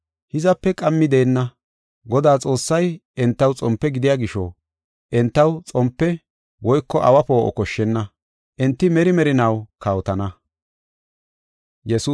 Hizape qammi deenna; Godaa Xoossay entaw xompe gidiya gisho entaw xompe woyko awa poo7o koshshenna. Enti meri merinaw kawotana.